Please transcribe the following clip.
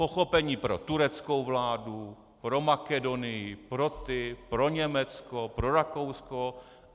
Pochopení pro tureckou vládu, pro Makedonii, pro ty, pro Německo, pro Rakousko.